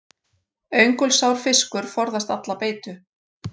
Öngulsár fiskur forðast alla beitu.